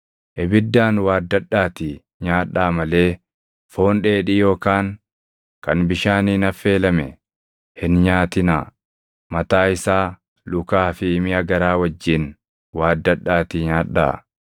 Ibiddaan waaddadhaatii nyaadhaa malee foon dheedhii yookaan kan bishaaniin affeelame hin nyaatinaa; mataa isaa, lukaa fi miʼa garaa wajjin waaddadhaatii nyaadhaa.